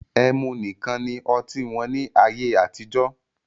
Ẹmu nìkan ni oti wọn ní ayé àtijọ́